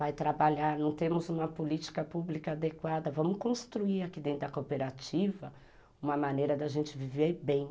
vai trabalhar, não temos uma política pública adequada, vamos construir aqui dentro da cooperativa uma maneira da gente viver bem.